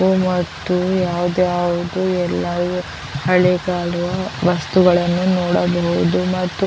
ಮತ್ತು ಯಾವ್ ಯಾವದೋ ಎಲ್ಲಾ ಇದೆ ಹಳ್ಳಿ ಗಾಡು ವಸ್ತುಗಳನ್ನು ನೋಡಬಹುದು ಮತ್ತು .